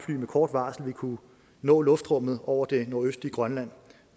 med kort varsel vil kunne nå luftrummet over det nordøstlige grønland